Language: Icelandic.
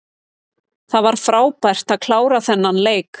Það var frábært að klára þennan leik.